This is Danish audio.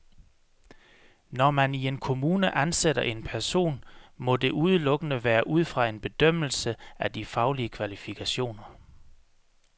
Når man i en kommune ansætter en person, må det udelukkende være ud fra en bedømmelse af de faglige kvalifikationer.